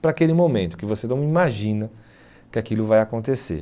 para aquele momento, que você não imagina que aquilo vai acontecer.